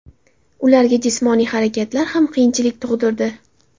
Ularga jismoniy harakatlar ham qiyinchilik tug‘dirdi.